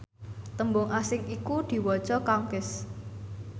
tembung asing iku diwaca conquest